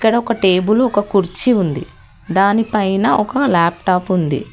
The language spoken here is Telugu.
ఈడ ఒక టేబుల్ ఒక కుర్చి ఉంది దానిపైన ఒక లాప్టాప్ ఉంది.